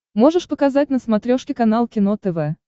можешь показать на смотрешке канал кино тв